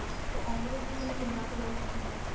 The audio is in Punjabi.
ਤੇ overall ਤੂੰ ਮੈਨੂੰ ਕਿੰਨਾ